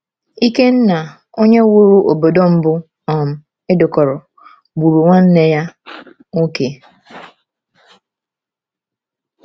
Ikenna, onye wuru obodo mbụ um e dekọrọ, gburu nwanne ya nwoke.